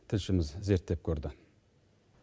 тілшіміз зерттеп көрді